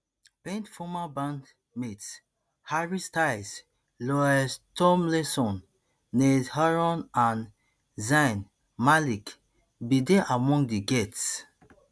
payne former bandmates harry styles louis tomlinson niall horan and zayn malik bin dey among di